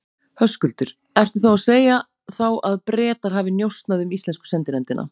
Höskuldur: Ertu þá að segja þá að Bretar hafi njósnað um íslensku sendinefndina?